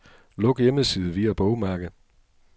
Luk hjemmeside via bogmærke.